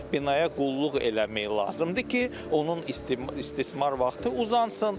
Binaya qulluq eləmək lazımdır ki, onun istismar vaxtı uzansın.